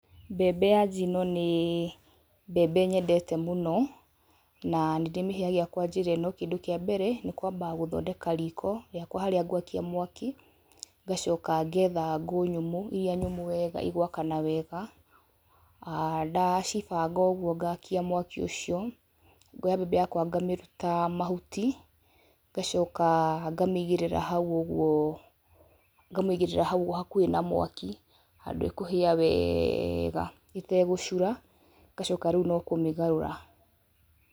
Mbembe ya njino nĩ mbembe nyendete mũno, na nĩ ndĩmĩhĩhagia kwa njĩra ĩno, kĩndũ kĩa mbere nĩ kwamba gũthondeka riko rĩakwa harĩa ngwakia mwaki, ngacoka getha ngũ nyũmũ, iria nyũmũ wega igwakana wega, aa ndacibanga ũguo ngakia mwaki ũcio, ngoya mbembe yakwa ngamĩruta mahuti, ngacoka ngamĩigĩrĩra hau ũgwo, ngamĩigĩrĩra hau ũguo hakuhĩ na mwaki, handũ ĩkũhia weega ĩtegũcura, ngacoka rĩu no kũmĩgarura.